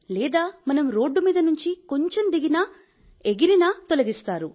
లేదా మనం రోడ్డు మీద నుంచి కొంచెం దిగినా ఎగిరినా తొలగిస్తారు